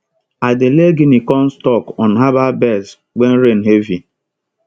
i dey lay guinea corn stalk on herbal beds when rain heavy